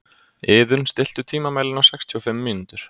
Iðunn, stilltu tímamælinn á sextíu og fimm mínútur.